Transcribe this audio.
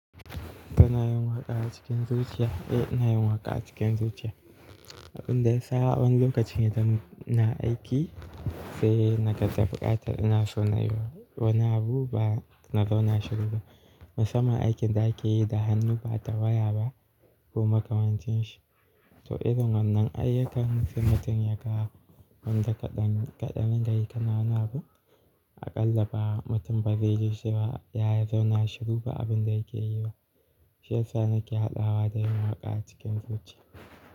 Ka na yin waƙa cikin zuciya? Eh ina yin waƙa cikin zuciya. Abin da ya sa a wani lokacin idan ina aiki sai na ga da buƙatar ina so na yi wani abu ba na zauna shiru ba. Musamman aikin da ake yi da hannu ba da waya ba ko makamancin shi. To irin wannan ayyukan mutum ya kawo wanda kaɗan, kaɗan dinga yi ka na wani abu, aƙalla ba mutum ba zai ji cewa ya zauna shiru ba abin da yake yi ba. Shi ya sa nake hadawa da yin waƙa cikin zuciya.